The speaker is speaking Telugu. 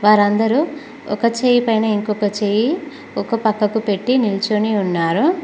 వారందరూ ఒక చేయి పైన ఇంకొక చేయి ఒక పక్కకు పెట్టి నిల్చిని ఉన్నారు.